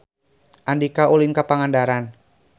Andika ulin ka Pangandaran